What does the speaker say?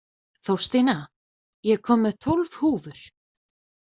Þórstína, ég kom með tólf húfur!